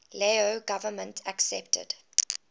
lao government accepted